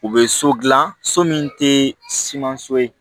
U bɛ so dilan so min tɛ siman si ye